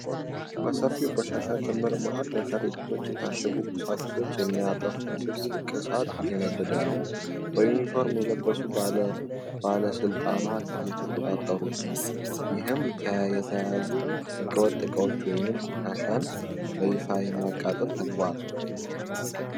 በሰፊው ቆሻሻ ክምር መሃል፣ በከረጢት የታሸጉ ቁሳቁሶችን የሚያጠፋ ትልቅ እሳት እየነደደ ነው። በዩኒፎርም የለበሱ ባለሥልጣናት እየተቆጣጠሩት ነው። ይህም የተያዙ ሕገወጥ ዕቃዎችን ወይም ቆሻሻን በይፋ የማቃጠል ተግባር ነው።